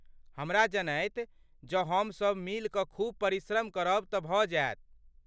हमरा जनैत, जँ हमसब मिलि कऽ खूब परिश्रम करब तँ भऽ जायत।